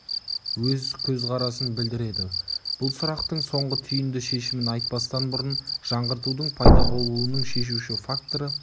өз көзқарасын білдіреді бұл сұрақтың соңғы түйінді шешімін айтпастан бұрын жаңғыртудың пайда болуының шешуші факторы